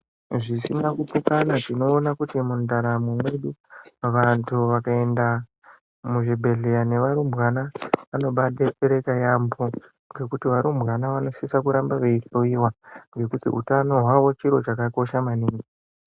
Zvisina kupokana tinoona kuti mundaramo yedu vandu vakaenda muzvibhedhleya nevarumbwana vanobayi betsereka yambo ngekuti varumbwana vanosisa kuramba veyihloyiwa ngekuti utano wavo chiro chakakosha maningi.